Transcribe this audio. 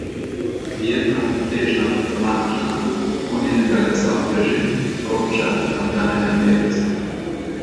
Prijetna, nežna, aromatična, vonj njenega lesa osveži, sprošča in odganja neprijetnosti.